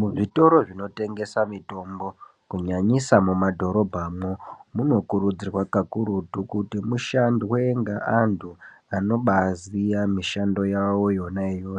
Muzvitoro zvinotengesa mitombo kunyanyisa mumadhorombamwo. Munokurudzirwa kakurutu kuti mushandwe ngeantu anobaziya mishando yavo yona iyo,